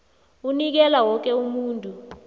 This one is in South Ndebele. ukunikela woke umuntu